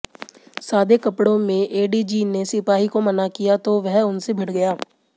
सादे कपड़ों में एडीजी ने सिपाही को मना किया तो वह उनसे भिड़ गया